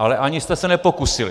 Ale ani jste se nepokusili.